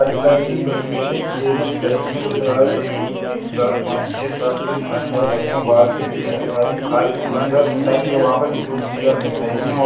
खाली खाली बैठने के लिए चेयरें दिख रही है बहोत एक दो तीन चार पांच छे सात से अंदाजा लग रहे है और बाहर के लिए रस्ता भी खाल मतलब ता भी है वहाँ पर भी दो चेयर दिख रही है और --